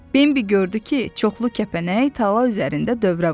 Bembi gördü ki, çoxlu kəpənək tala üzərində dövrə vurur.